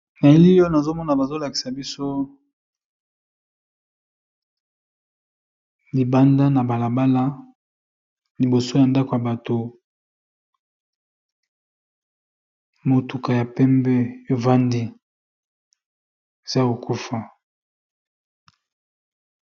Na elili oyo nazo mona bazo lakisa biso libanda na bala bala liboso ya ndako ya bato, motuka ya pembe evandi eza ya ko kufa.